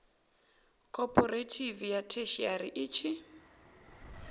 khophorethivi ya theshiari i tshi